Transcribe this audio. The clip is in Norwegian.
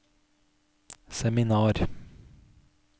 seminar